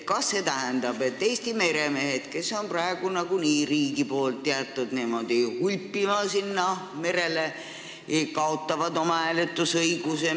" Kas see tähendab, et Eesti meremehed, kelle riik on praegu nagunii jätnud niimoodi merele hulpima, kaotavad hääletusõiguse?